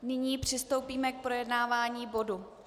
Nyní přistoupíme k projednávání bodu